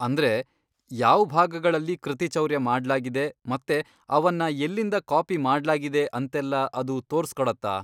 ಅಂದ್ರೆ, ಯಾವ್ ಭಾಗಗಳಲ್ಲಿ ಕೃತಿಚೌರ್ಯ ಮಾಡ್ಲಾಗಿದೆ ಮತ್ತೆ ಅವನ್ನ ಎಲ್ಲಿಂದ ಕಾಪಿ ಮಾಡ್ಲಾಗಿದೆ ಅಂತೆಲ್ಲ ಅದು ತೋರ್ಸ್ಕೊಡತ್ತಾ?